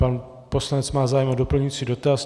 Pan poslanec má zájem o doplňující dotaz.